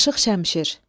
Aşıq Şəmşir.